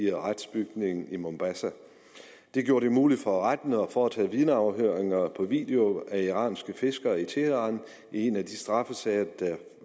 retsbygning i mombasa det gjorde det muligt for retten at foretage vidneafhøringer på video af iranske fiskere i teheran i en af de straffesager der